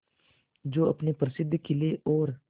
जो अपने प्रसिद्ध किले और